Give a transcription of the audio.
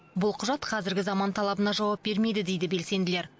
бұл құжат қазіргі заман талабына жауап бермейді дейді белсенділер